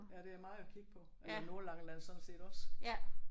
Ja det er meget at kigge på og det er Nordlangeland sådan set også